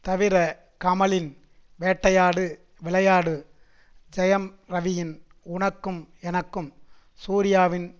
தவிர கமலின் வேட்டையாடு விளையாடு ஜெயம் ரவியின் உனக்கும் எனக்கும் சூர்யாவின்